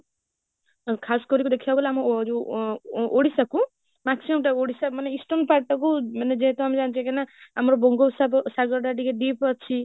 ଆଉ କରିକି ଦେଖିବାକୁ ଗଲେ ଆମ ଯୋଉ ଓ ଓଡ଼ିଶାକୁ maximum time ଓଡ଼ିଶା ମାନେ eastern part ଟାକୁ ମାନେ ଯେହେତୁ ଆମେ ଜନିଛେକି ନା ଆମ ବଙ୍ଗ ସାଗରଟା ଟିକେ deep ଅଛି